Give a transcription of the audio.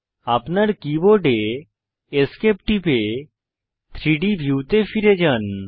আপনার keyboard ESC টিপে 3ডি ভিউতে ফিরে যান